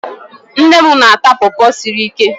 Nne m na-ata pọọpọ siri ike.